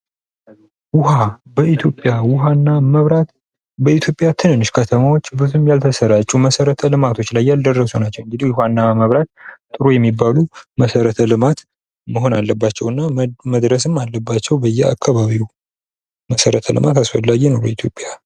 ውሃ በኢትዮጵያ ውሃና መብራት በትንሽ ከተሞች ብዙም ያልተሰራጩ መሰረተ ልማቶች ያልደረሱባቸው። እንግድ ውሃና መብራት ጥሩ የሚባሉ መሰረተ ልማት መሆን አለባቸው እና መድረስም አለባቸው በየአካባቢው። መሰረተ ልማት አስፈላጊ ነው በኢትዮጵያ።